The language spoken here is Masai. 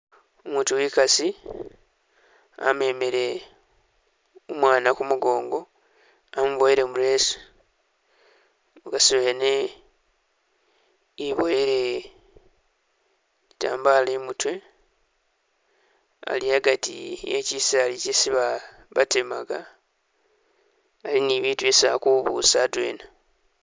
Umutu wekasi amemele umwana humugongo, wamuboyele mu leesu, mukasi wene iboyele itambala imutwe, ali agati ekisaala isi batemaga, ali ni bitu isi akubuusa adwena